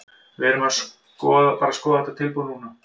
Við erum bara að skoða þetta tilboð núna.